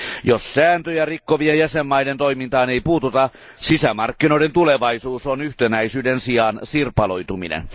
Jos sääntöjä rikkovien jäsenvaltioiden toimintaan ei puututa, sisämarkkinoiden tulevaisuus on yhtenäisyyden sijaan sirpaloituminen.